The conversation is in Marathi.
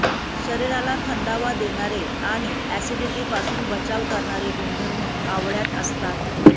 शरीराला थंडावा देणारे आणि अॅसिडीटीपासून बचाव करणारे गुणधर्म आवळ्यात असतात